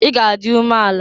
I ga adị umeala!